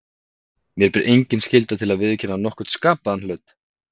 Mér ber engin skylda til að viðurkenna nokkurn skapaðan hlut.